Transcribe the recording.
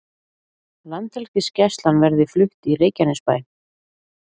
Landhelgisgæslan verði flutt í Reykjanesbæ